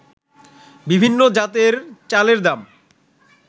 বিভিন্ন জাতের চালের দাম